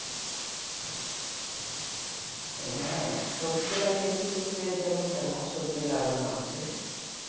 এইখানে? সবজি লাগিয়েছি বলতে তেমনটা না সবজি লাগানো আছে।